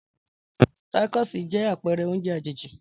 Tacosí jẹ́ àpẹrẹ oúnjẹ àjèjì.